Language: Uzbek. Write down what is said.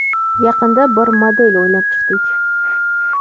Yaqinda bir model o‘ylab chiqdik.